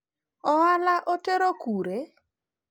ohala otero kure?